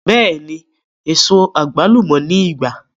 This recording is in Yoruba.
Beeni, eso to ni igba